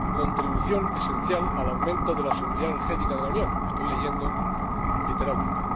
contribución esencial al aumento de la seguridad energética de la Unión —estoy leyendo literalmente—.